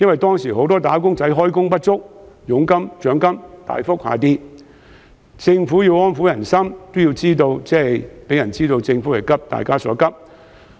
當時很多"打工仔"開工不足，佣金和獎金大跌，政府要藉"派錢"安撫人心，也要讓人知道政府急大家所急。